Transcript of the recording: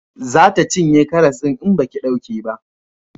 Za ta cinye karas din in baki dauke ba